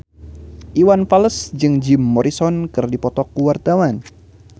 Iwan Fals jeung Jim Morrison keur dipoto ku wartawan